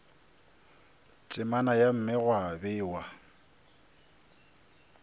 temana ya mme gwa bewa